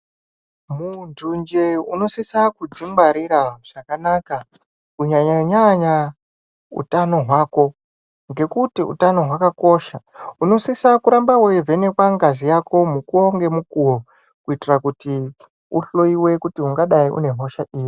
Muntu njee unosisa kudzingwarira zvakanaka kunyanyanya hutano hwako ngekuti utano hwakakosha unosisa kuramba weivhenekwa ngazi yako mukuwo ngemukuwo kuitira kuti ihloyiwe kuti ungadai uine hosha iri .